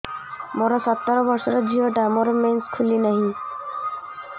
ମୁ ସତର ବର୍ଷର ଝିଅ ଟା ମୋର ମେନ୍ସେସ ଖୁଲି ନାହିଁ